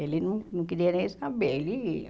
Ele não não queria nem saber, ele ia.